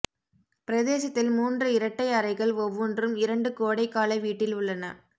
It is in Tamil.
பிரதேசத்தில் மூன்று இரட்டை அறைகள் ஒவ்வொன்றும் இரண்டு கோடைகால வீட்டில் உள்ளன